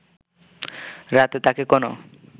রাতে তাকে কোনো